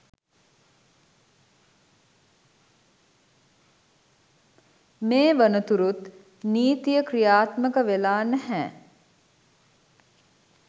මේ වනතුරුත් නීතිය ක්‍රියාත්මක වෙලා නැහැ.